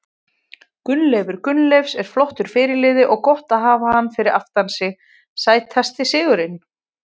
Gunnleifur Gunnleifs er flottur fyrirliði og gott að hafa hann fyrir aftan sig Sætasti sigurinn?